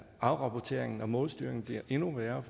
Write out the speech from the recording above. afrapporteringen og målstyringen bliver endnu værre